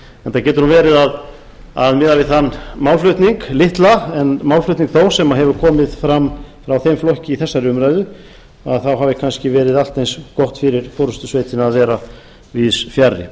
þetta getur nú verið að miða við þann málflutning litla en málflutning þó sem hefur komið fram hjá þeim flokki í þessari umræðu þá hafi kannski verið allt eins gott fyrir forustusveitina að vera víðs fjarri